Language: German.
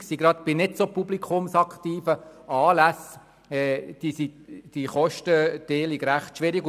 Denn häufig ist die Kostenteilung bei nicht so publikumsträchtigen Anlässen recht schwierig.